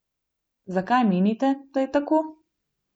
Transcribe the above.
Zakaj menite, da je tako?